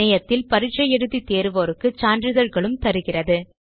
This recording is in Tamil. இணையத்தில் பரிட்சை எழுதி தேர்வோருக்கு சான்றிதழ்களும் தருகிறது